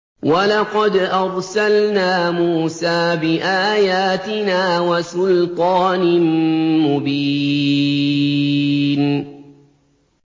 وَلَقَدْ أَرْسَلْنَا مُوسَىٰ بِآيَاتِنَا وَسُلْطَانٍ مُّبِينٍ